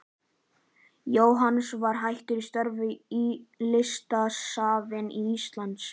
Jóhannes var hættur störfum í Listasafni Íslands.